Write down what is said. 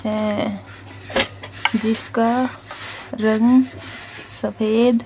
यें जिसका रंग सफेद --